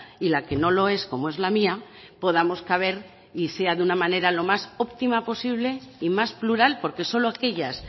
y la que no lo es como es la mía podamos caber y sea de una manera lo más óptima posible y más plural porque solo aquellas